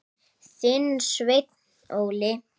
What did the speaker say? Þinn, Sveinn Óli.